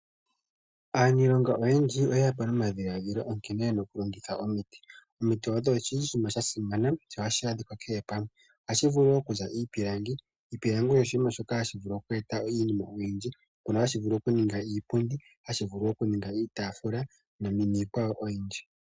Aaniilonga oyendji oye ya po nomadhiladhilo nkene ye na okulongitha omiti. Omiti odho dhi li oshinima sha simana sho ohashi adhika kehe pamwe. Ohashi vulu wo okuza iipilangi. Iipilangi osho oshinima shoka hashi vulu oku eta iinima oyindji. Mono hashi vulu okuningwa iipundi, hashi vulu okuningwa iitaafula niikwawo oyindji.